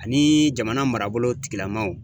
Ani jamana marabolo tigilamaw.